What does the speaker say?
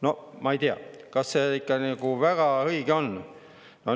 No ma ei tea, kas see ikka väga õige on.